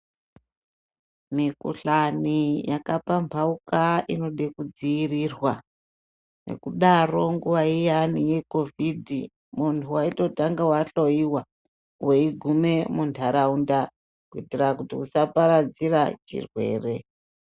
Mikhuhlani yakapamhauka inode kudziirirwa. Ngekudaro nguwa iyani yeCOVID muntu waitotanga wahloyiwa weigume munharaunda kuitire kuti usaparadzira chirwere.